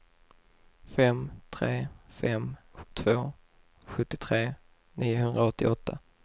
fem tre fem två sjuttiotre niohundraåttioåtta